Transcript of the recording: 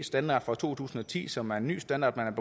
standard for to tusind og ti som er en ny standard man